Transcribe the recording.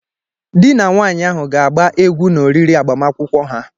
Dị na nwaanyị ahụ ga-agba egwu n'oriri agbamakwụkwọ ha.